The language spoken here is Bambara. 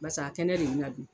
Basa a kɛnɛ de bina dun.